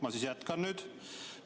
Ma siis jätkan nüüd.